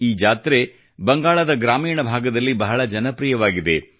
ಈ ಜಾತ್ರೆಯು ಬಂಗಾಳದ ಗ್ರಾಮೀಣ ಭಾಗದಲ್ಲಿ ಬಹಳ ಜನಪ್ರಿಯವಾಗಿದೆ